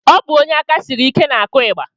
Ọ bụ onye aka siri ike na-akụ ịgba